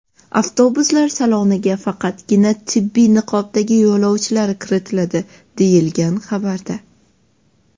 Avtobuslar saloniga faqatgina tibbiy niqobdagi yo‘lovchilar kiritiladi, deyilgan xabarda.